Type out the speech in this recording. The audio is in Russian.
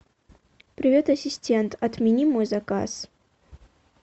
привет ассистент отмени мой заказ